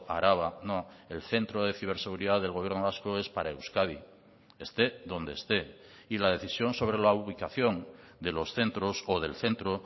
araba no el centro de ciberseguridad del gobierno vasco es para euskadi esté donde esté y la decisión sobre la ubicación de los centros o del centro